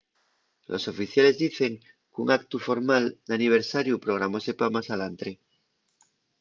los oficiales dicen qu’un actu formal d’aniversariu programóse pa más alantre